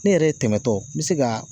Ne yɛrɛ ye tɛmɛ tɔ me se ka